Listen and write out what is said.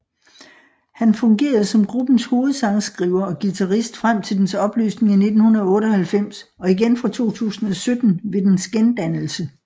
Han fungerede som gruppens hovedsangskriver og guitarist frem til dens opløsning i 1998 og igen fra 2017 ved dens gendannelse